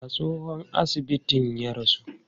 A tsohon asibitin ya rasu?